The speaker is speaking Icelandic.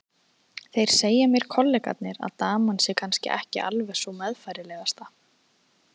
Þeir segja mér kollegarnir að daman sé kannski ekki alveg sú meðfærilegasta.